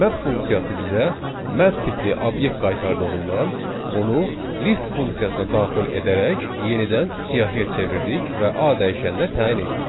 Map funksiyası bizə map tipli obyekt qaytardığından onu list funksiyasına daxil edərək yenidən siyahıya çevirdik və A dəyişəninə təyin etdik.